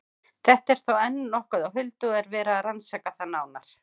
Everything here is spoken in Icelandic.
Þetta er þó enn nokkuð á huldu og er verið að rannsaka það nánar.